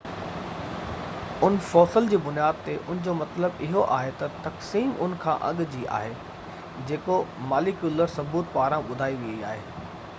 ان fossil جي بنياد تي ان جو مطلب اهو آهي ته تقسيم ان کان اڳ جي آهي جيڪو ماليڪيولر ثبوت پاران ٻڌائي وئي آهي